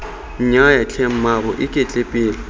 nnyaya tlhe mmaabo iketle pele